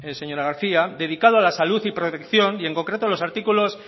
señora garcía dedicado a la salud y protección y en concreto los artículos